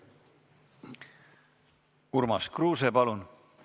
Urmas Kruuse, palun!